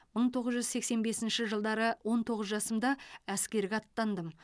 мың тоғыз жүз сексен бесінші жылдары он тоғыз жасымда әскерге аттандым